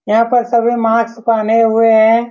यहाँ पर सभी मास्क पहने हुए हैं।